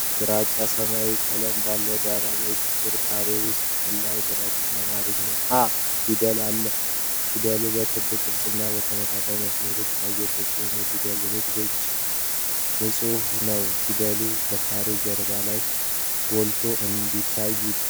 ግራጫ ሰማያዊ ቀለም ባለው ዳራ ላይ፣ ጥቁር ካሬ ውስጥ ቀላል ግራጫ የአማርኛ "እ" ፊደል አለ። ፊደሉ በክብ ቅርጽና በተንጠለጠሉ መስመሮች ያጌጠ ሲሆን፣ የፊደሉ ንድፍ የእጅ ጽሑፍን ነው። ፊደሉ ከካሬው ጀርባ ላይ ጎልቶ እንዴት ታይ?